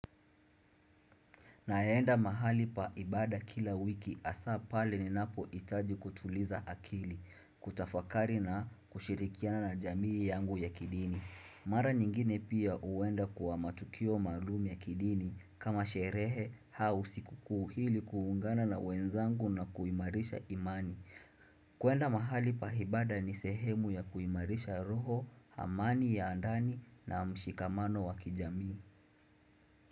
Na enda mahali paibada kila wiki hasa pale ni napo hitaji kutuliza akili, kutafakari na kushirikiana na jamii yangu ya kidini. Mara nyingine pia uenda kwa matukio maalumu ya kidini kama sherehe au sikukuu ili kuungana na wenzangu na kuimarisha imani. Kuenda mahali paibada ni sehemu ya kuimarisha roho, amani ya ndani na mshikamano wa kijamii.